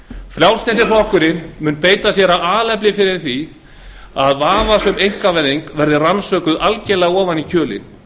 frjálslyndi flokkurinn mun beita sér af alefli fyrir því að vafasöm einkavæðing verði rannsökuð algjörlega ofan í kjölinn